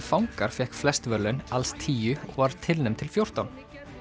fangar fékk flest verðlaun alls tíu og var tilnefnd til fjórtán